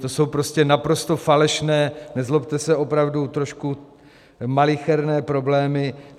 To jsou prostě naprosto falešné, nezlobte se, opravdu trošku malicherné problémy.